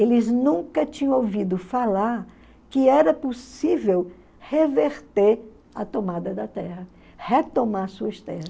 Eles nunca tinham ouvido falar que era possível reverter a tomada da terra, retomar suas terras.